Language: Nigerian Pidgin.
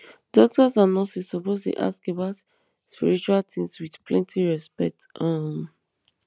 doctors and nurses suppose dey ask about spiritual things with plenty respect um